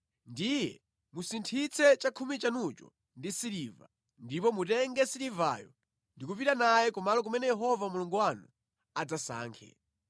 ndiye musinthitse chakhumi chanucho ndi siliva, ndipo mutenge silivayo ndi kupita naye kumalo kumene Yehova Mulungu wanu adzasankhe.